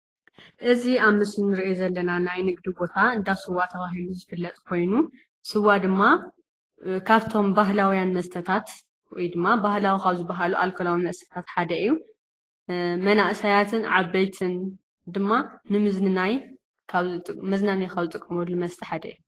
እዚ ኣብ ምስሊ እንርእዮ ዘለና ናይ ንግዲ ቦታ እንዳ ስዋ ተባሂሉ ዝፍለጥ ኮይኑ ስዋ ድማ ካብቶም ባህላውያን መስተታት ወይድማ ባህላዊ ካብ ዝበሃሉ ኣልኮላዊ መስተታት ሓደ እዩ። መናእሰያትን ዓበይትን ድማ ንምዝንናይ ኣብ ዝጥቀ መዝናነይ ካብ ዝጥቀምሉ መስተ ሓደ እዩ።